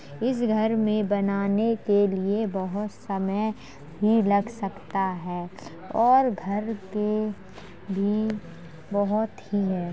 घर में बनाने के लिए बहोत समय भी लग सकता है और घर के भी बहोत ही है |